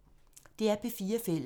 DR P4 Fælles